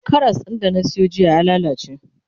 Karas din da na Sayo jiya ya lallace